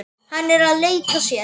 Hann er að leika sér.